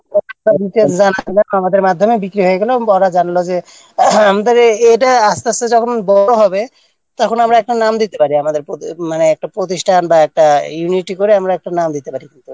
আমাদের মাধ্যমে বিক্রি হয়ে গেল এবং পরে জানল যে আমাদের এটা আসতে আসতে যখন বড় হবে তখন আমরা একটা নাম দিতে পারি আমাদের মানে একটা প্রতিষ্ঠান এই এইটা করে আমরা একটা নাম দিতে পারি কিন্তু